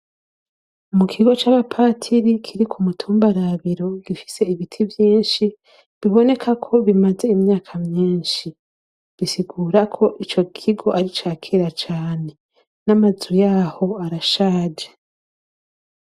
Mu kigo c'abapatiri kiri ku mutumba Rabiro, gifise ibiti vyinshi, biboneka ko bimaze imyaka myinshi, bisigura ko ico kigo ari icakera cane, n'amazu yaho arashaje.